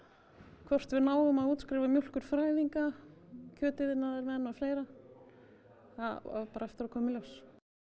hvort við náum að útskrifa mjólkurfræðinga kjötiðnaðarmenn og fleira það á bara eftir að koma í ljós